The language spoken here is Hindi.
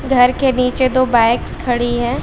घर के नीचे दो बाइक्स खड़ी हैं।